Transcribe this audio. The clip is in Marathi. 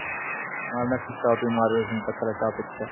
माला नकीच